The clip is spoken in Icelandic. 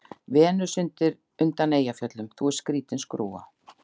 Venus undan Eyjafjöllum:- Þú ert skrýtin skrúfa.